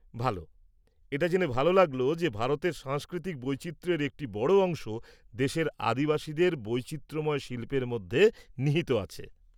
ভাল! এটা জেনে ভালো লাগল যে ভারতের সাংস্কৃতিক বৈচিত্র্যের একটি বড় অংশ দেশের আদিবাসীদের বৈচিত্র্যময় শিল্পের মধ্যে নিহিত আছে।